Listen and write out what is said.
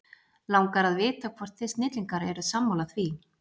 Langar að vita hvort þið snillingar eru sammála því?